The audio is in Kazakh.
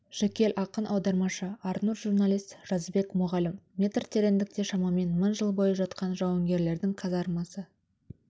жүкел ақын аудармашы арнұр журналист жазыбек мұғалім метр тереңдікте шамамен мың жыл бойы жатқан жауынгерлердің казармасы